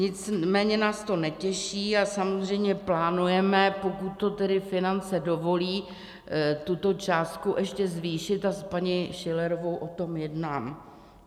Nicméně nás to netěší a samozřejmě plánujeme, pokud to tedy finance dovolí, tuto částku ještě zvýšit a s paní Schillerovou o tom jednám.